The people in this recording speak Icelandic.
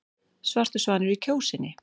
Svartur svanur í Kjósinni